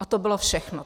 A to bylo všechno.